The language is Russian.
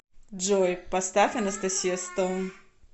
джой поставь анастасия стоун